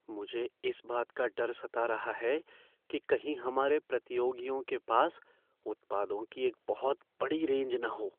मुझे इस बात का डर सता रहा है कि कहीं हमारे प्रतियोगियों के पास उत्पादों की एक बहुत बड़ी रेंज न हो।